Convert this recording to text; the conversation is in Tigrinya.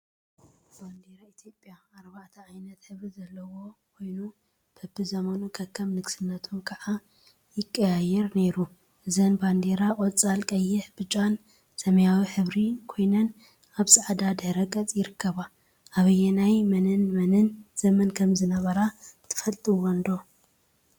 ባንዴራ ኢትዮጵያ ባንዴራ ኢትዮጵያ አርባዕተ ዓይነት ሕብሪ ዘለዋ ኮይኑ፤ በቢ ዘመኑ/ከከም ንግስነቶም/ ከዓ ይቀያየር ነይሩ፡፡ እዘን ባንዴራ ቆፃል፣ ቀይሕ፣ ብጫን ሰማያዊን ሕብሪ ኮይነን አብ ፃዕዳ ድሕረ ገፅ ይርከባ፡፡ አብናይ መንን መንን ዘመን ከም ዝነበራ ትፈልጥወን ዶ?